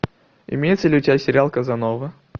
имеется ли у тебя сериал казанова